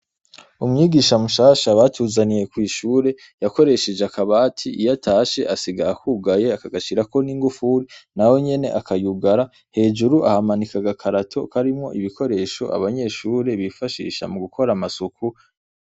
Umwigisha mushasha batuzaniye kw'ishure yakoresheje akabati iyo atashe asiga akugaye akagashirako n'ingufuri nayo nyene akayugara hejuru ahamanika agakarito karimwo ibikoresho abanyeshure bifashisha mu gukora amasuku.